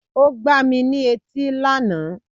O gbà mí ní etí lànà